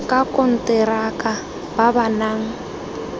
ka konteraka ba ba nang